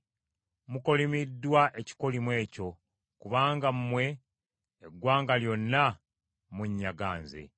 Mukolimiddwa ekikolimo ekyo, kubanga mmwe, eggwanga lyonna munnyaga nze.